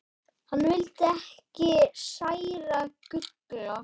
Hann vildi ekki særa Gulla.